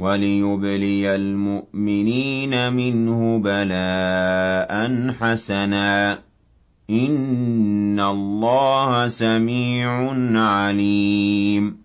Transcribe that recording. وَلِيُبْلِيَ الْمُؤْمِنِينَ مِنْهُ بَلَاءً حَسَنًا ۚ إِنَّ اللَّهَ سَمِيعٌ عَلِيمٌ